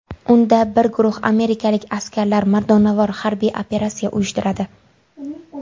Unda bir guruh amerikalik askarlar mardonavor harbiy operatsiya uyushtiradi.